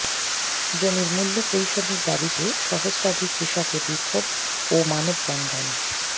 জমির মূল্য পরিশোধের দাবীতে সহস্রাধিক কৃষকের বিক্ষোভ ও মানববন্ধন